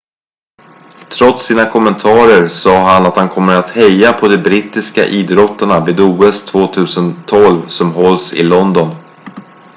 trots sina kommentarer sa han att han kommer att heja på de brittiska idrottarna vid os 2012 som hålls i london